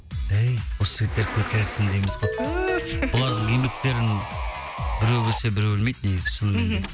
әй осы жігіттер көтерілсін дейміз ғой бұлардың еңбектерін біреу білсе біреуі білмейді негізі шынымен де